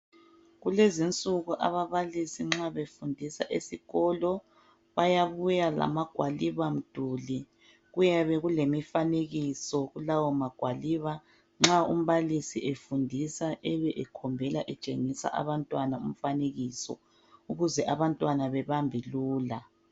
Kulezinsuku ababalisi nxa befundisa esikolo bayabuya lamagwalibamduli , kuyabe kulemifanekiso kulawo magwaliba . Nxa umbalisi efundisa ebe ekhombela etshengisa abantwana umfanekiso ukuze abantwana bebambe lula .